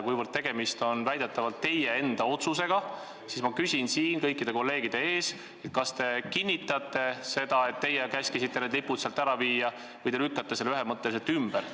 Kuivõrd väidetavalt on tegemist teie enda otsusega, siis ma küsin siin kõikide kolleegide ees: kas te kinnitate seda, et teie käskisite need lipud sealt ära viia, või te lükkate selle ühemõtteliselt ümber?